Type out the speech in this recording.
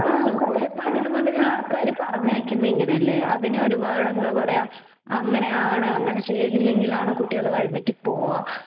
പണ്ടുമുതലേ ആൾക്കാർ പറഞ്ഞു വെക്കുന്നത് അങ്ങനെയല്ലേ . ഒരുപാട് എന്താ പറയുക അങ്ങനെയാണ് അങ്ങനെ ചെയ്തില്ലെങ്കിൽ അങ്ങനെ ചെയ്തില്ലെങ്കിൽ ആണ് കുട്ടികൾ വഴിതെറ്റിപ്പോവുക